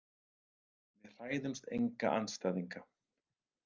Við hræðumst enga andstæðinga.